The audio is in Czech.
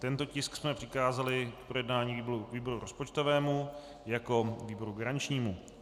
Tento tisk jsme přikázali k projednání výboru rozpočtovému jako výboru garančnímu.